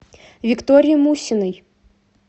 виктории мусиной